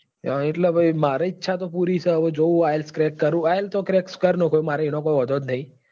એટલે પછી મારે ઈચ્છા તો પૂરી છે હવે જોવું ielts crack કરું ielts તો crack કરી નાખું મારે એનો કોઈ વાંધો જ નથી.